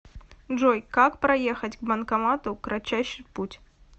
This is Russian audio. джой как проехать к банкомату кратчайший путь